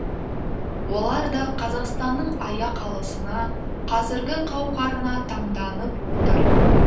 олар да қазақстанның аяқ алысына қазіргі қауқарына таңданып отыр